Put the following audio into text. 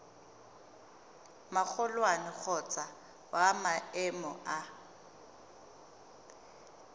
magolwane kgotsa wa maemo a